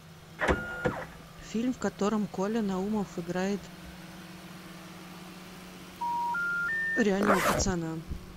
фильм в котором коля наумов играет реального пацана